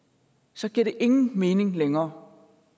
så giver det ingen mening længere